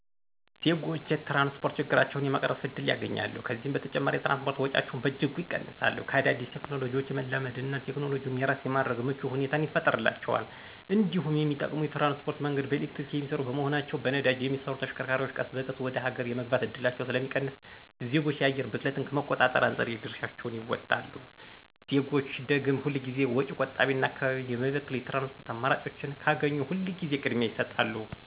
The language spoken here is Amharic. ዜጎች የትራንስፖርት ችግራቸውን የመቅረፍ እድል ያገኛሉ፤ ከዚህም በተጨማሪ የትራንስፖርት ወጪያቸውን በእጅጉ ይቀንሳሉ፤ ከአዳዲስ ቴክኖሎጂዎች የመላመድ እና ቴክኖሎጂውን የራስ የማድረግ ምቹ ሁኔታን ይፈጥርላቸዋል እንዲሁም የሚጠቀሙት የትራንስፖርት መንገድ በኤሌክትሪክ የሚሰሩ በመሆናቸው በነዳጅ የሚሰሩ ተሽከርካሪዎች ቀስ በቀስ ወደ ሀገር የመግባት እድላቸው ስለሚቀንስ ዜጎች የአየር ብክለትን ከመቆጣጠር አንፃር የድርሻቸውን ይወጣሉ። ዜጎች ደግም ሁል ጊዜ ወጪ ቆጣቢና አካባቢን የማይበክል የትራንስፖርት አማራጮችን ካገኙ ሁል ጊዜ ቅድሚያ ይሰጣሉ።